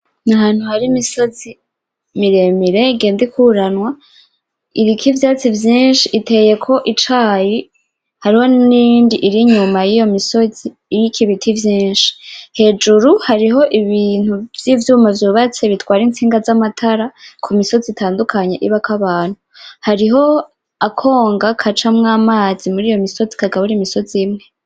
N'ahantu hari imisozi miremire igenda ikururanwa. Iriko ivyatsi vyinshi, iteyeko icayi. Hariho niyindi iriyuma yiyo misozi iriko ibiti vyinshi. Hejuru hariho ibintu vyivyuma vyubatse bitwara intsinga zamatara kumisozi itandukanye ibako abantu. Hariho akonga gacamwo amazi muriyo misozi kagabura imisozi imwe.